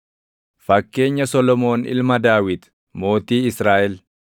Fakkeenya Solomoon Ilma Daawit, mootii Israaʼel: